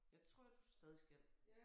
Jeg tror du stadig skal